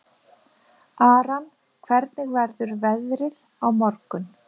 Aran, hvernig verður veðrið á morgun?